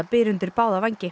byr undir báða vængi